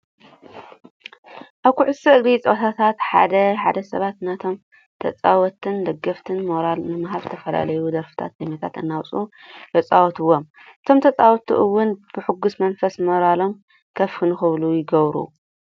ኣብ ኩዕሶ እግሪ ፀወታታት ሓደ ሓደ ሰባት ነቶም ተፃወትቲን ደገፍትን ሞራል ንምሃብ ዝተፈላለዩ ደርፍታት ዜማታት እናውፅኡ የፃውቱዎም። እቶም ተፃወቲ እውን ብሕጉስ መንፈስ ሞራሎም ከፍ ንክብል ይገብር።